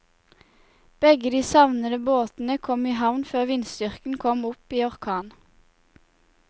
Begge de savnede båtene kom i havn før vindstyrken kom opp i orkan.